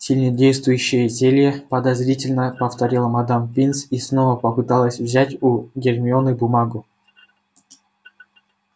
сильнодействующие зелья подозрительно повторила мадам пинс и снова попыталась взять у гермионы бумагу